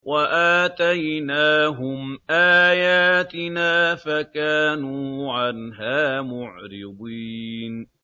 وَآتَيْنَاهُمْ آيَاتِنَا فَكَانُوا عَنْهَا مُعْرِضِينَ